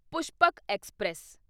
Pushpak express